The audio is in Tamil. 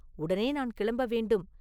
உடனே நான் கிளம்ப வேண்டும்.